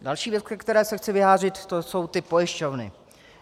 Další věc, ke které se chci vyjádřit, to jsou ty pojišťovny.